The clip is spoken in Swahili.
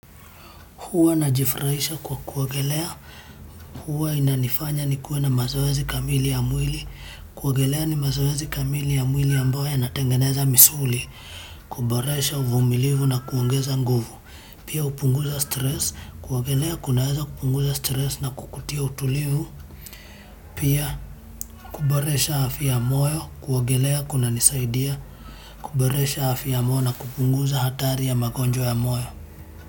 Huwa najifurahisha kwa kuogelea. Huwa inanifanya nikuwe na mazoezi kamili ya mwili. Kuogelea ni mazoezi kamili ya mwili ambayo yanatengeneza misuli. Kuboresha uvumilivu na kuongeza nguvu. Pia hupunguza stress. Kuogelea kunaweza kupunguza stress na kukutia utulivu. Pia kuboresha afya ya moyo. Kuwagelea kuna nisaidia. Kuboresha afya ya moyo na kupunguza hatari ya magonjwa ya moyo.